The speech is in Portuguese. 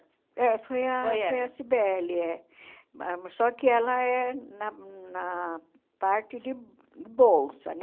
É, foi a foi a Sibeli, é ah. Só que ela é na na parte de bolsa, né?